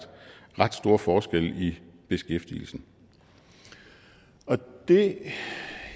ret store forskelle i beskæftigelsen det